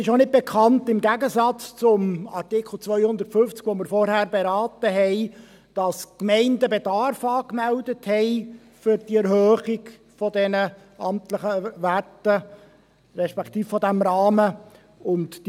Mir ist auch nicht bekannt – im Gegensatz zum Artikel 250, welchen wir vorhin beraten haben –, dass die Gemeinden für die Erhöhung der amtlichen Werte, respektive dieses Rahmens Bedarf angemeldet haben.